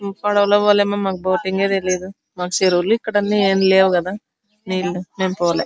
పడవలోని పోలె మేము మాకు బోటింగ్ ఆ తెలువదు ఇక్కడ చెరువు ఎం లేవు కదా మేము పోలె.